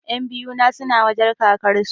Ƴan biyu na suna wajen kakar su